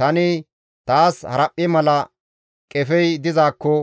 Tani, «Taas haraphphe mala qefey dizaakko